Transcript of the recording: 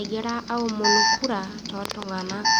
egira aomonu kura tooltung'anak.